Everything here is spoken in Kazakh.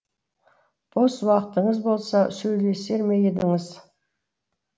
бос уақытыңыз болса сөйлесер ме едіңіз